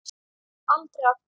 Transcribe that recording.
Aldrei aftur.